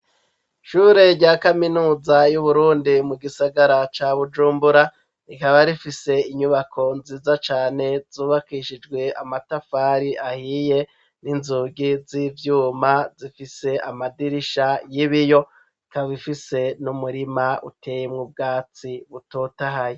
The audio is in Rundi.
Ishure rya kaminuza ry'uburundi mu gisagara ca bujumbura rikaba rifise inyubako nziza cane zubakishijwe amatafari ahiye n'inzugi z'ivyuma zifise amadirisha y'ibiyo rikaba rifise n'umurima uteye mwubwatsi butotahaye.